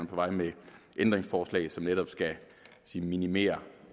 på vej med ændringsforslag som netop skal minimere